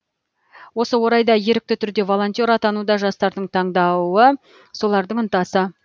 осы орайда ерікті түрде волонтер атану да жастардың таңдауы солардың ынтасы